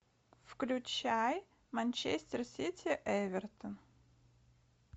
включай манчестер сити эвертон